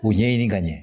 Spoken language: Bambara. O ɲɛɲini ka ɲɛ